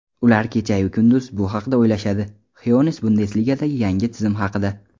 ular kechayu kunduz bu haqida o‘ylashadi – Xyoness Bundesligadagi yangi tizim haqida.